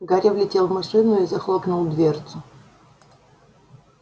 гарри влетел в машину и захлопнул дверцу